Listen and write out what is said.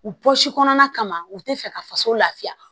U bɔsi kɔnɔna u tɛ fɛ ka faso lafiya